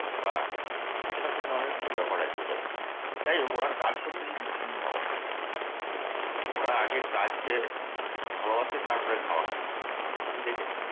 বা এরকম ধরনের কিছু ব্যাপার আছে ওদের কাছে। যাই হোক ওরা কাজ করতে কিন্তু খুব ভালোবাসে। ওরা আগে কাজকে ভালোবাসে তারপর খাওয়াকে ভালোবাসে। আমি দেখেছি।